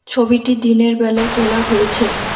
ছবিটি দিনের বেলা তোলা হয়েছে।